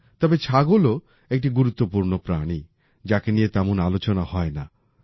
তবে ছাগলও একটি গুরুত্বপূর্ণ প্রাণী যাকে নিয়ে তেমন আলোচনা হয় না